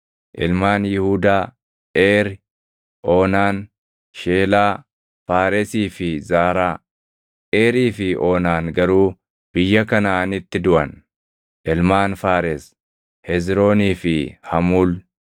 Ilmaan Yihuudaa: Eeri, Oonaan, Sheelaa, Faaresii fi Zaaraa. Eerii fi Oonaan garuu biyya Kanaʼaanitti duʼan. Ilmaan Faares: Hezroonii fi Hamuul.